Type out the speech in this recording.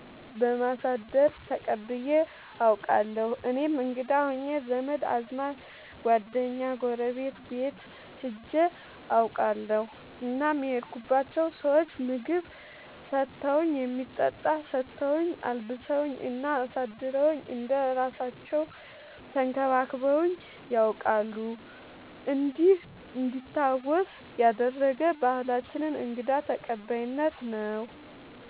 በማሳደር ተቀብዬ አውቃለሁ። እኔም እንግዳ ሆኜ ዘመድ አዝማድ ጓደኛ ጎረቤት ቤት ሄጄ አውቃለሁ እናም የሄድኩባቸው ሰዎች ምግብ ሰተውኝ የሚጠጣ ሰተውኝ አልብሰውኝ እና አሳድረውኝ እንደ እራሳለው ተንከባክበውኝ ነያውቃሉ እንዲህ እንዲታወስ ያደረገ ባህላችንን እንግዳ ተቀባይነት ነው።